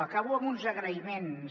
acabo amb uns agraïments